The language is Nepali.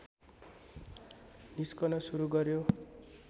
निस्कन सुरु गर्‍यो